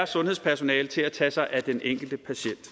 sundhedspersonalet til at tage sig af den enkelte patient